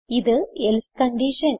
ഇത് else condition